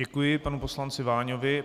Děkuji panu poslanci Váňovi.